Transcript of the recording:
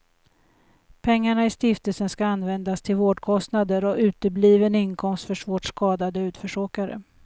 Pengarna i stiftelsen ska användas till vårdkostnader och utebliven inkomst för svårt skadade utförsåkare.